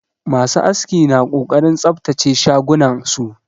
Masu aski na ƙoƙarin tsabtace shagunan su